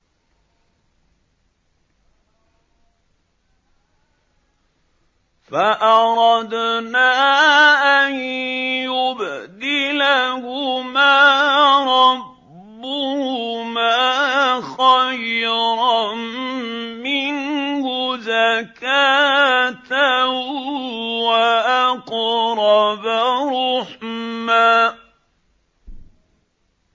فَأَرَدْنَا أَن يُبْدِلَهُمَا رَبُّهُمَا خَيْرًا مِّنْهُ زَكَاةً وَأَقْرَبَ رُحْمًا